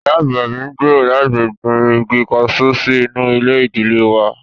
Ìyá àgbà mi ń gbèrò láti gbin igi kaṣú sí inú ilé ìdílé wà